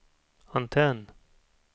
antenn